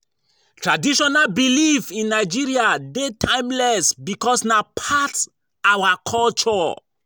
Traditional belief in Nigeria de timeless because na part our culture